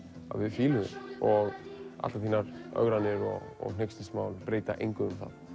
að við fílum þig og allar þínar ögranir og hneykslismál breyta engu um það